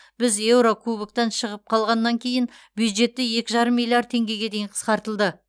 біз еурокубоктан шығып қалғаннан кейін бюджетті екі жарым миллиард теңгеге дейін қысқартылды